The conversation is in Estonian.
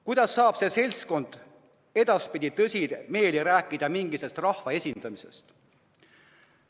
Kuidas saab see seltskond tõsimeeli rääkida mingist rahva esindamisest?